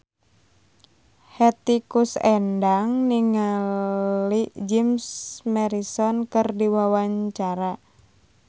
Hetty Koes Endang olohok ningali Jim Morrison keur diwawancara